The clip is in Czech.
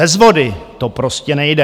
Bez vody to prostě nejde.